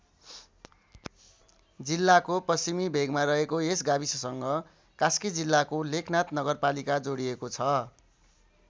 जिल्लाको पश्चिमी भेगमा रहेको यस गाविससँग कास्की जिल्लाको लेखनाथ नगरपालिका जोडिएको छ।